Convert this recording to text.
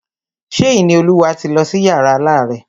Ṣé Ìníolúwa ti lọ sí yàrá alárẹ̀?